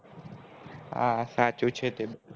હા સાચું છે તે બધું